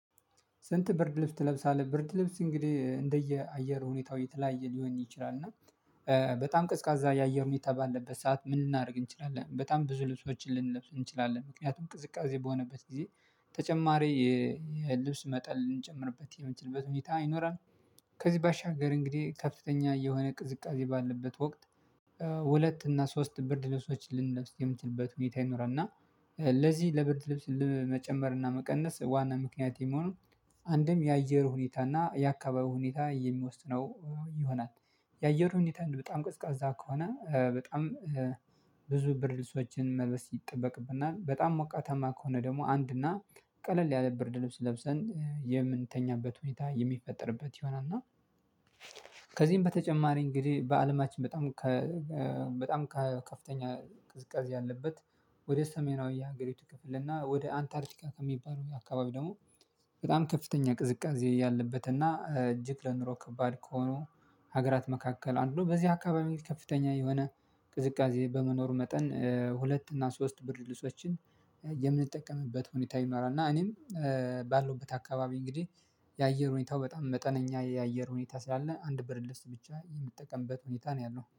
ስንት ብርድ ልብስ ትለብሳለህ? ብርድ ልብስ እንግዲህ እንደየ አየር ሁኔታው የተለያየ ሊሆን ይችላል እና በጣም ቀዝቃዛ የአየር ሁኔታ ባለበት ሰዓት ምን ልናደርግ እንችላለን? በጣም ብዙ ልብሶችን ልንለብስ እንችላለን ምክንያቱም ቅዝቃዜ በሆነበት ጊዜ ተጨማሪ የልብስ መጠን እንጨምርበት የምንችልበት ሁኔታ ይኖራል። ከዚህ ባሻገር እንግዲህ ከፍተኛ የሆነ ቅዝቃዜ ባለበት ወቅት ሁለት እና ሶስት ብርድ ልብሶች ልንለብስ የምንችልበት ሁኔታ ይኖራል። እና ለዚህ ለብርድ ልብስ ለመጨመር እና መቀነስ ዋና ምክንያት የመሆኑ አንድም የአየር ሁኔታና የአካባቢ ሁኔታ የሚወስነው ይሆናል። የአየር ሁኔታ በጣም ቀዝቃዛ ከሆነ በጣም ብዙ ብርድ ልብሶችን መልበስ ይጠበቅብናል በጣም መቋታማ ከሆነ ደግሞ አንድና ቀለል ያለ ብርድ ልብስ ለብሰን የምንተኛበት ሁኔታ የሚፈጠርበት ይሆናል። እና ከዚህም በተጨማሪ እንግዲህ በአለማችን በጣም በጣም ከፍተኛ ቅዝቃዜ ያለበት ወደ ሰሜናዊ የሀገሪቱ ክፍል እና ወደ አንታርቲካ ከሚባለው አካባቢ ደግሞ በጣም ከፍተኛ ቅዝቃዜ ያለበትና እጅግ ለኑሮ ከባድ ከሆኑ ሀገራት መካከል አንዱ በዚህ አካባቢ ከፍተኛ የሆነ ቅዝቃዜ በመኖሩ መጠን ሁለት እና ሶስት ብር ልብሶችን የምንጠቀምበት ሁኔታ ይኖራል። እና እኔም ባለሁበት አካባቢ እንግዲህ የአየር ሁኔታው በጣም መጠነኛ የአየር ሁኔታ ስላለ አንድ ብርድ ልብስ ብቻ የምጠቀምበት ሁኔታ ነው ያለው